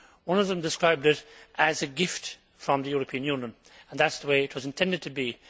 One of them described it as a gift from the European Union, and that is the way it was intended to be.